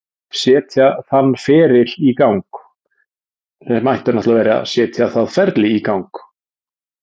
Setja þann feril í gang.